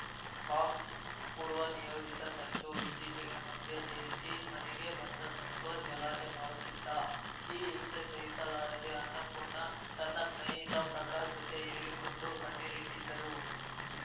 ಬಾಕ್ಸ್‌ಪೂರ್ವ ನಿಯೋಜಿತ ಸಂಚು ಇತ್ತೀಚಿಗೆ ಮದ್ಯ ಸೇವಿಸಿ ಮನೆಗೆ ಬಂದು ಸಂತೋಷ್‌ ಗಲಾಟೆ ಮಾಡುತ್ತಿದ್ದ ಈ ಹಿಂಸೆ ಸಹಿಸಲಾರದೆ ಅನ್ನಪೂರ್ಣ ತನ್ನ ಸ್ನೇಹಿತ ಪ್ರಕಾಶ್‌ ಜತೆ ಹೇಳಿಕೊಂಡು ಕಣ್ಣೀರಿಟ್ಟಿದ್ದರು